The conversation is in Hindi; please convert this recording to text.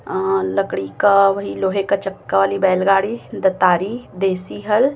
अं लकड़ी का वही लोहे का चक्का वाली बैलगाड़ी दतारी देसी हल--